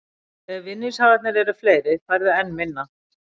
Ef vinningshafarnir eru fleiri færðu enn minna.